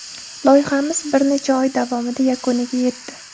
Loyihamiz bir necha oy davomida yakuniga yetdi.